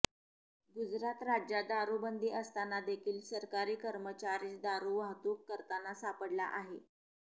गुजरात राज्यात दारु बंदी असताना देखील सरकारी कर्मचारीच दारु वाहतूक करताना सापडला आहे